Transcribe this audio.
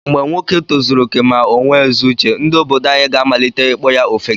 Mgbe nwoke tozuru okè ma onwe ezi uche, ndị obodo anyi ga amalite ịkpọ ya ofeke.